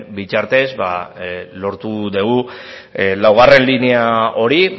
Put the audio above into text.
bitartez ba lortu dugu laugarren linea hori